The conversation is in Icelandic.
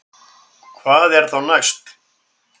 Hvað er þá næst